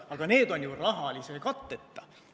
Aga need on ju rahalise katteta.